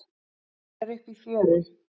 Hún er uppi í fjöru.